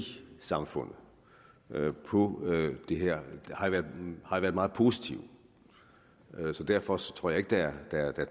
samfundet på det her har været meget positive så derfor tror jeg ikke der